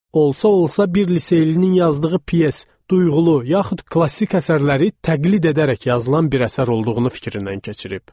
Olsa-olsa bir liseylinin yazdığı pyes duyğulu, yaxud klassik əsərləri təqlid edərək yazılan bir əsər olduğunu fikrindən keçirib.